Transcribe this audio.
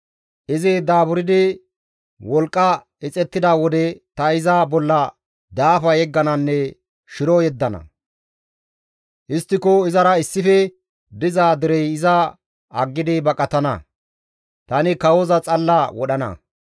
Izi daaburdi wolqqa ixettida wode ta iza bolla daafa yeggananne shiro yeddana; histtiko izara issife diza derey iza aggidi baqatana; tani kawoza xalla wodhana.